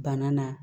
Bana na